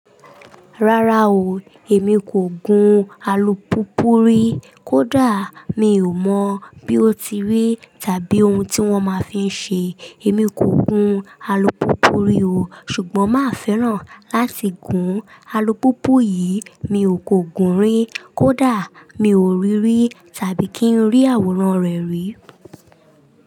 Rárá o, èmi kò gun alùpùpù rí. Kódà mi ò mọ̀ bí ó ti rí tàbí ohun tí wọ́n máa fí ń ṣe. Èmi kò gun alùpùpù rí o, ṣùgbọ́n máa fẹ́ràn láti gun alùpùpù yìí. Mi ò kò gùn rí, kódà mi ò rí rí tàbí kí ń rí àwòrán rẹ̀ rí.